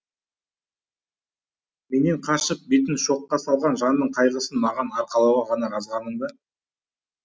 менен қашып бетін шоққа салған жанның қайғысын маған арқалауға ғана жазғаның ба